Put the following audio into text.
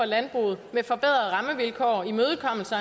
landbruget med forbedrede rammevilkår og imødekommelse